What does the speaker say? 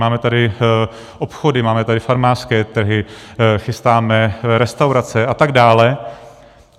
Máme tady obchody, máme tady farmářské trhy, chystáme restaurace atd.